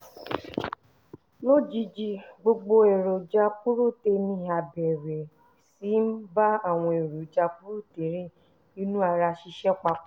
lójijì gbogbo èròjà purotéènì á bẹ̀rẹ̀ sí í bá àwọn èròjà purotéènì inú ara ṣiṣẹ́ papọ̀